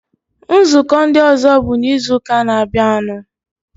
Nzukọ ndị ọzọ bụ n'izuụka na-abịanụ.